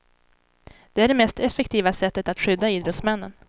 Det är det mest effektiva sättet att skydda idrottsmännen.